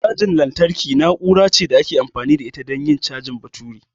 Cajar lantarki na'ura ce da ake amfani da ita don yin cajin batura.